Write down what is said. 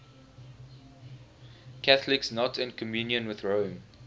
catholics not in communion with rome